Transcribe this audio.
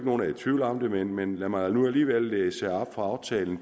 nogen er i tvivl om det men lad mig nu alligevel læse op fra aftalen